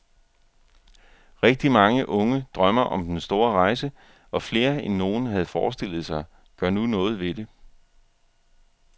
Rigtig mange unge drømmer om den store rejse, og flere, end nogen havde forestillet sig, gør nu noget ved det.